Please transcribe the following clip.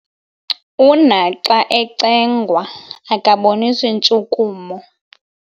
Unaxa ecengwa akabonisi ntshukumo.